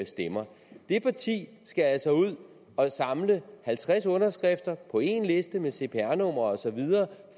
stemmer det parti skal altså ud og samle halvtreds underskrifter på én liste med cpr numre osv